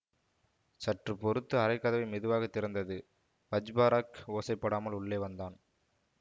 சற்று பொறுத்து அறைக் கதவு மெதுவாக திறந்தது வஜ்பராஹ் ஓசைப்படாமல் உள்ளே வந்தான்